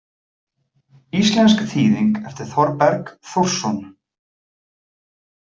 Íslensk þýðing eftir Þorberg Þórsson.